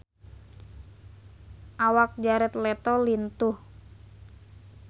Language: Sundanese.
Awak Jared Leto lintuh